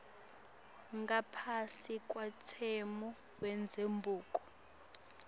ngaphasi kwemtsetfo wendzabuko